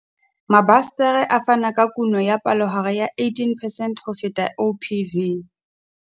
Mabasetere a fana ka kuno ya palohare ya 18 percent ho feta OPV.